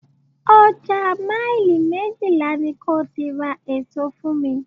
Ọjà maili méjìlá ni ko ti ra èso fún mi.